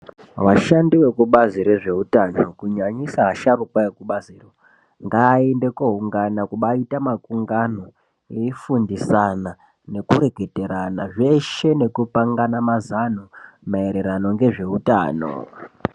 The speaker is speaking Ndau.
Vashandi veku bazi re zveutano kunyanyisa a sharuka ve zveku bazi ngaende kuungana kubai ita makungano vei fundisana neku reketana zveshe neku pangana mazano ma ererano ngezve utano.